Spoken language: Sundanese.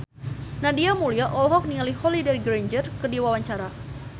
Nadia Mulya olohok ningali Holliday Grainger keur diwawancara